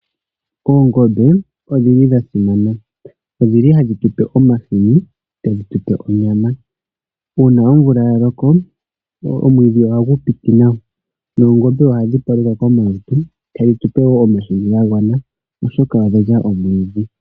Oongombe odhili dhasimana. Odhili hadhi tupe omahini, tadhi tupe onyama. Una omvula yaloko omwiidhi ohagu piti nawa noongombe ohadhi paluka komalutu tadhi tupe wo omahini gagwana oshoka odhalya omwiidhi.